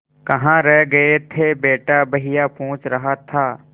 कहाँ रह गए थे बेटा भैया पूछ रहा था